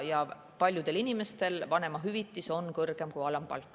Ja paljudel inimestel on vanemahüvitis kõrgem kui alampalk.